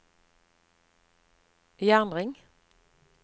jernring